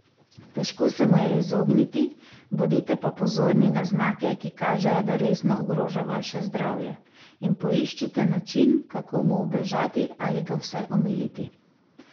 Težko se mu je izogniti, bodite pa pozorni na znake, ki kažejo, da resno ogroža vaše zdravje, in poiščite način, kako mu ubežati ali ga vsaj omiliti.